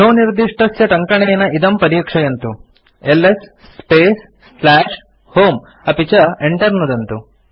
अधोनिर्दिष्टस्य टङ्कनेन इदं परीक्षयन्तु एलएस स्पेस् home अपि च enter नुदन्तु